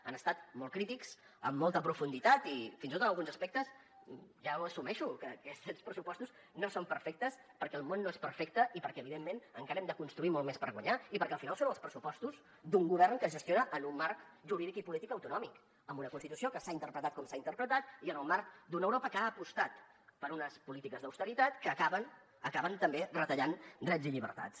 han estat molt crítics amb molta profunditat i fins i tot en alguns aspectes ja ho assumeixo que aquests pressupostos no són perfectes perquè el món no és perfecte i perquè evidentment encara hem de construir molt més per guanyar i perquè al final són els pressupostos d’un govern que gestiona en un marc jurídic i polític autonòmic amb una constitució que s’ha interpretat com s’ha interpretat i en el marc d’una europa que ha apostat per unes polítiques d’austeritat que acaben també retallant drets i llibertats